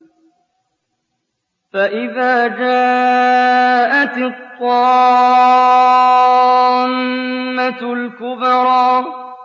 فَإِذَا جَاءَتِ الطَّامَّةُ الْكُبْرَىٰ